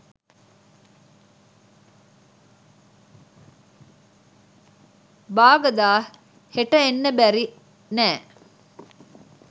"බාගදා හෙට එන්න බැරි නෑ"